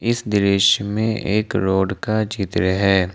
इस दृश्य में एक रोड का चित्र है।